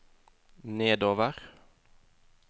nedover